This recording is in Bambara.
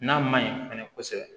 N'a ma ɲi fɛnɛ kosɛbɛ